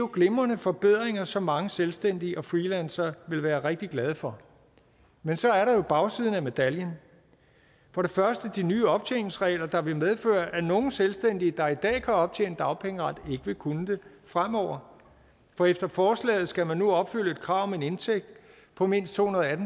glimrende forbedringer som mange selvstændige og freelancere vil være rigtig glade for men så er der jo bagsiden af medaljen for det første de nye optjeningsregler der vil medføre at nogle selvstændige der i dag kan optjene dagpengeret ikke vil kunne det fremover for efter forslaget skal man nu opfylde et krav om en indtægt på mindst tohundrede